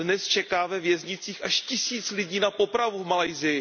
Dnes čeká ve věznicích až tisíc lidí na popravu v Malajsii.